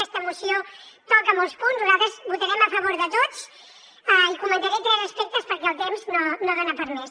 aquesta moció toca molts punts nosaltres votarem a favor de tots i comentaré tres aspectes perquè el temps no dona per a més